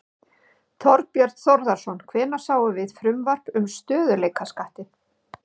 Þorbjörn Þórðarson: Hvenær sjáum við frumvarp um stöðugleikaskattinn?